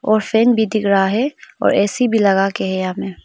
और फैन भी दिख रहा है और ए_सी भी लगाके है यहां में।